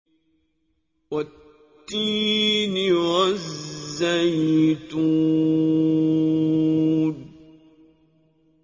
وَالتِّينِ وَالزَّيْتُونِ